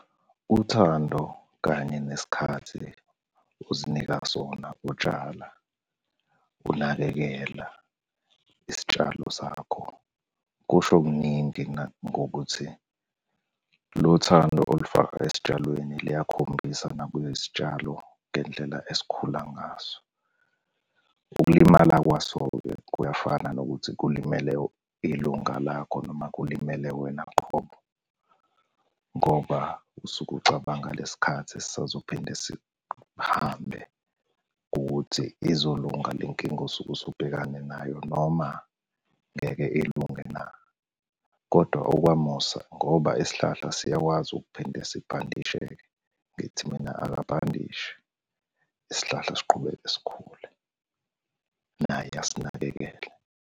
Uthando kanye nesikhathi ozinika sona utshala, unakekela isitshalo sakho, kusho kuningi ngokuthi lolu thando olufaka ezitshalweni luyakhombisa nakwizitshalo ngendlela ezikhula ngazo. Ukulimala kwaso-ke kuyafana nokuthi kulimele ilunga lakho noma kulimele wena qhobo, ngoba usuke ucabanga lesi khathi esisazophinda sihambe ukuthi izolunga le nkinga osuke usubhekane nayo noma ngeke ilunge na, kodwa okwamosa ngoba isihlahla siyakwazi ukuphinde sibhandisheke. Ngithi mina akabhandise isihlahla siqhubeke sikhule naye asinakekele.